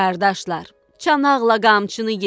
Qardaşlar, çanaqla qamçını yedik.